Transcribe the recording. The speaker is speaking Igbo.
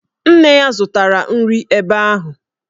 Nne ya zụtara nri ebe ahụ